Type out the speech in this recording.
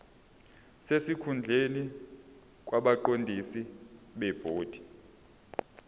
sesikhundleni kwabaqondisi bebhodi